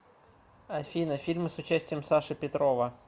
афина фильмы с участием саши петрова